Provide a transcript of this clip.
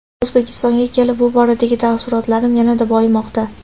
O‘zbekistonga kelib bu boradagi taassurotlarim yanada boyimoqda.